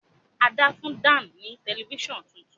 Ada fún Dan ní Tẹlifíṣàn títún.